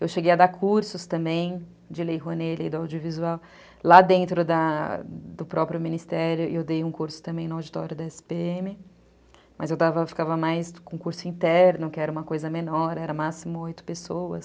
Eu cheguei a dar cursos também de Lei Rouanet, Lei do Audiovisual, lá dentro da do próprio Ministério, e eu dei um curso também no Auditório da esse pê eme, mas eu ficava mais com curso interno, que era uma coisa menor, era máximo oito pessoas.